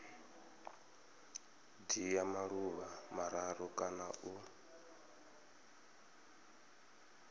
dzhia maḓuvha mararu kana u